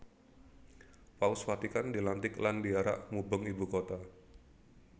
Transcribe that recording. Paus Vatikan dilantik lan diarak mubeng ibu kota